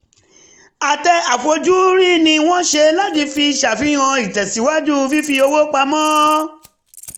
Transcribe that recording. àtẹ àfojúrí ni wọ́n ṣe láti fi ṣàfihàn ìtẹ́síwájú fífi owó pamọ́